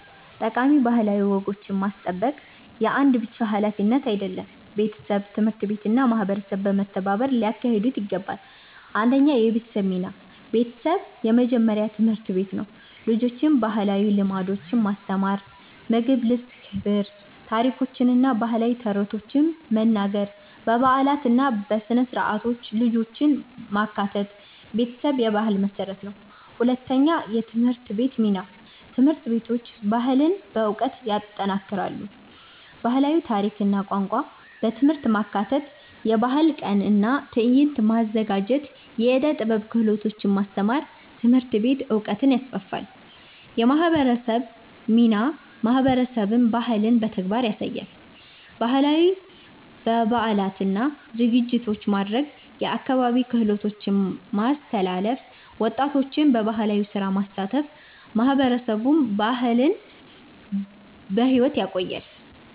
ጠቃሚ ባህላዊ ወጎችን ማስጠበቅ የአንድ ብቻ ሀላፊነት አይደለም፤ ቤተሰብ፣ ትምህርት ቤት እና ማህበረሰብ በመተባበር ሊያካሂዱት ይገባል። 1 የቤተሰብ ሚና ቤተሰብ የመጀመሪያ ትምህርት ቤት ነው። ልጆችን ባህላዊ ልምዶች ማስተማር (ምግብ፣ ልብስ፣ ክብር) ታሪኮችን እና ባህላዊ ተረቶችን መናገር በበዓላት እና በሥነ-ሥርዓት ልጆችን ማካተት ቤተሰብ የባህል መሠረት ነው። 2የትምህርት ቤት ሚና ትምህርት ቤቶች ባህልን በዕውቀት ይጠናክራሉ። ባህላዊ ታሪክ እና ቋንቋ በትምህርት ማካተት የባህል ቀን እና ትዕይንት ማዘጋጀት የዕደ ጥበብ ክህሎቶች ማስተማር ትምህርት ቤት ዕውቀትን ይስፋፋል። የማህበረሰብ ሚናማህበረሰብ ባህልን በተግባር ያሳያል። ባህላዊ በዓላትን እና ዝግጅቶችን ማድረግ የአካባቢ ክህሎቶችን ማስተላለፍ ወጣቶችን በባህላዊ ስራ ማሳተፍ ማህበረሰብ ባህልን በሕይወት ያቆያል።